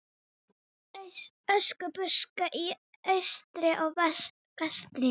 Öskubuska í austri og vestri.